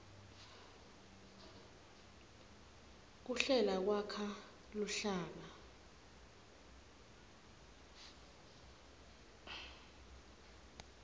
kuhlela kwakha luhlaka